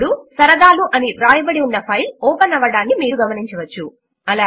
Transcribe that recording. ఇప్పుడు సరదాలు వ్రాయబడి ఉన్న ఫైల్ ఓపెన్ అవ్వడమును మీరు గమనించవచ్చు